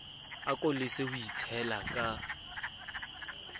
ako lese ho itshela ka